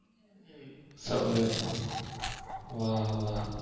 ભલે હા હા